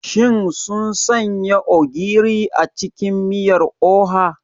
Shin sun sanya ogiri a cikin miyar oha?